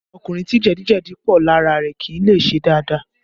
Ọkùnrin tí jẹ̀díjẹ̀dí pọ̀ lára rẹ kì í lè ṣe dáadáa